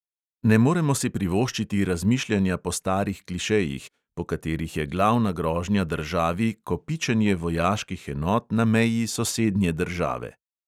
Ne moremo si privoščiti razmišljanja po starih klišejih, po katerih je glavna grožnja državi kopičenje vojaških enot na meji sosednje države.